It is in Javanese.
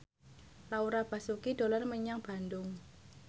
Laura Basuki dolan menyang Bandung